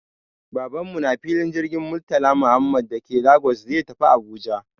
Baban mu na filin jirgin Murtala Muhammad da ke Lagos zai tafi Abuja